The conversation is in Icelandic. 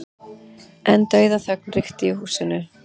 En dauðaþögn ríkti í húsinu.